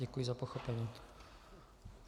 Děkuji za pochopení.